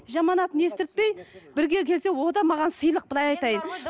жаман атын естірпей бірге келсе ол да маған сыйлық былай айтайын